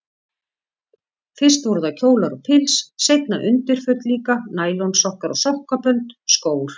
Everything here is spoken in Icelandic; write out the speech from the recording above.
Fyrst voru það kjólar og pils, seinna undirföt líka, nælonsokkar og sokkabönd, skór.